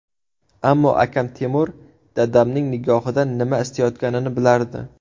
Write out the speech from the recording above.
Ammo akam Temur dadamning nigohidan nima istayotganini bilardi.